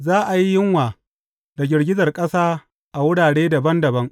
Za a yi yunwa da girgizar ƙasa a wurare dabam dabam.